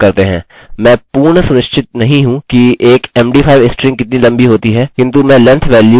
अतः हम इसके लिए सीमा को बढ़ाकर 100 तक करते हैं